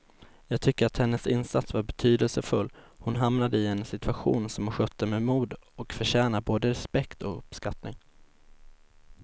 Jag tycker att hennes insats var betydelsefull, hon hamnade i en situation som hon skötte med mod och förtjänar både respekt och uppskattning.